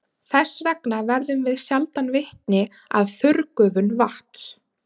Þess vegna verðum við sjaldan vitni að þurrgufun vatns.